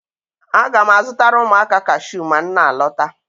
Aga m azụtara ụmụaka kashiu ma m na-alọta